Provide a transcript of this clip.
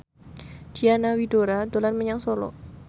Diana Widoera dolan menyang Solo